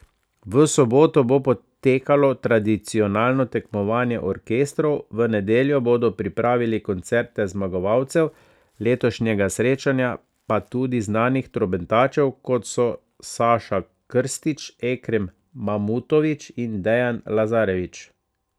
V soboto bo potekalo tradicionalno tekmovanje orkestrov, v nedeljo bodo pripravili koncerte zmagovalcev letošnjega srečanja, pa tudi znanih trobentačev, kot so Saša Krstić, Ekrem Mamutović in Dejan Lazarević.